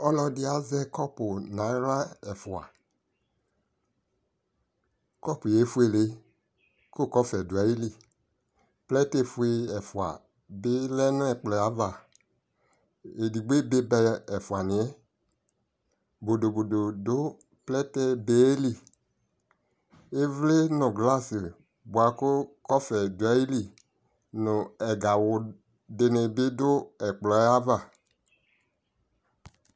Ɔlɔdι azɛ kɔpu nʋ aɣla ɛfuaKɔpu yɛ efuele kʋ kɔfɛ dʋ ayi lι Plɛti fue ɛfua bι lɛ nʋ ɛkplɔ yɛ ava Edigbo ebe ba ɛfuani yɛ Bodobodo dʋ plɛti be yɛ lι Ιvli nʋ glasi bua kʋ kɔfɛ dʋalι nʋ ɛgawʋ di nι bι dʋ ɛkplɔ yɛ ava